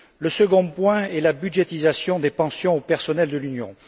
Le second point est la budgétisation des pensions du personnel de l'Union.